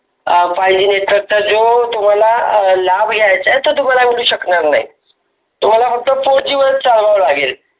अं fiveGnetwork चा जो लाब असतो तर तुम्हाला भेटू शकणार नाही. तुम्हाला फक्त fourG वर चालवावे लागेल.